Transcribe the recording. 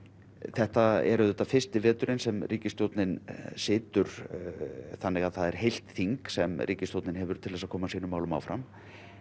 þetta er auðvitað fyrsti veturinn sem ríkisstjórnin situr þannig að það er heilt þing sem ríkisstjórnin hefur til þess að koma sínum málum áfram